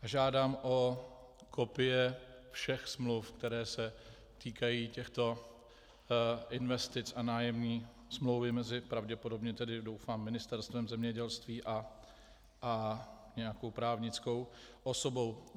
Žádám o kopie všech smluv, které se týkají těchto investic, a nájemní smlouvy mezi - pravděpodobně, tedy doufám - Ministerstvem zemědělství a nějakou právnickou osobou.